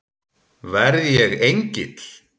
Verð ég engill?